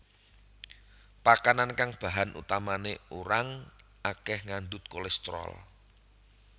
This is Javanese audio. Pakanan kang bahan utamané urang akeh ngandut kolesterol